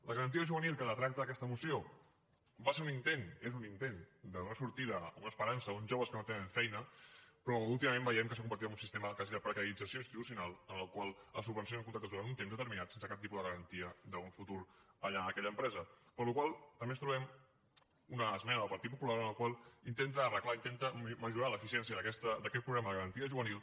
la garantia juvenil que tracta aquesta moció va ser un intent és un intent de donar sortida o una esperança a uns joves que no tenen feina però últimament veiem que s’ha convertit en un sistema quasi de precarització institucional en el qual es subvencionen contractes durant un temps determinat sense cap tipus de garantia d’un futur allà en aquella empresa per la qual cosa també ens trobem una esmena del partit popular en la qual intenta arreglar intenta millorar l’eficiència d’aquest programa de garantia juvenil